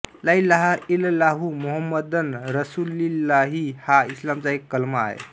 लाइलाहइलल्लाहु मोहम्मदन रसुलिल्लाहि हा इस्लामचा एक कलमा आहे